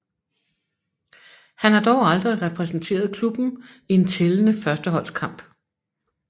Han har dog aldrig repræsenteret klubben i en tællende førsteholdskamp